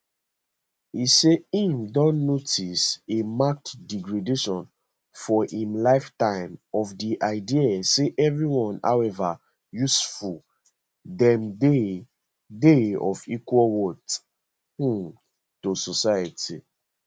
e say im don notice a marked degradation for im lifetime of di idea say everyone however useful dem dey dey of equal worth um to society